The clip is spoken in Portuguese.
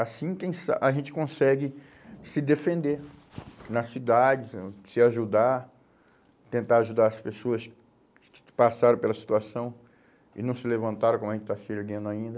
Assim quem sa, a gente consegue se defender nas cidades, e se ajudar, tentar ajudar as pessoas que que que passaram pela situação e não se levantaram, como a gente está se erguendo ainda.